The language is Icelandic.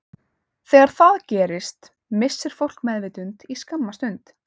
Þegar það gerist missir fólk meðvitund í skamma stund.